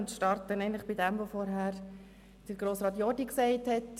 Ich beginne mit dem, was Grossrat Jordi gesagt hat.